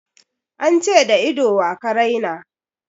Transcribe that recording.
An ce da ido wa ka raina?